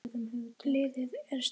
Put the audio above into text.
Bilið er orðið það stórt.